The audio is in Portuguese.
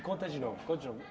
conta de novo, conta de novo.